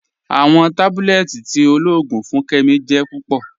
Awọn tábúlẹ̀tì tí ọlọ́ọ̀gùn fún Kẹ́mí jẹ́ púpọ̀.